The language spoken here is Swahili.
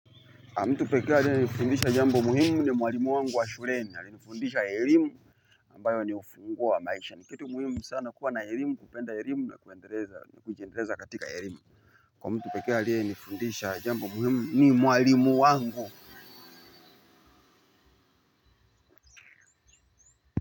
Amtupeke aliye nifundisha jambo muhimu ni mwalimu wangu wa shuleni ali nifundisha elimu ambayo ni ufunguo wa maisha ni kitu muhimu sana kuwa na elimu kupenda elimu la kuendeleza ni kujiendeleza katika elimu. Kwa mtupeke aliye nifundisha jambo muhimu ni mwalimu wangu.